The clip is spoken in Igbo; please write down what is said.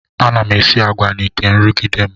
Ana m esi agwa n'ite nrụgide m.